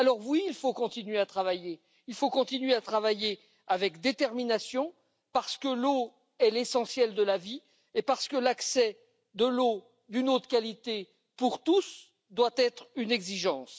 Alors oui, il faut continuer à travailler. Il faut continuer à travailler avec détermination parce que l'eau est l'essentiel de la vie et parce que l'accès à une eau de qualité pour tous doit être une exigence.